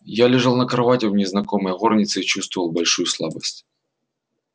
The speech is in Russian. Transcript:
я лежал на кровати в незнакомой горнице и чувствовал большую слабость